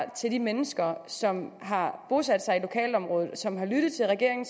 til de mennesker som har bosat sig i lokalområdet som har lyttet til regeringen